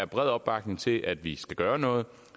bred opbakning til at vi skal gøre noget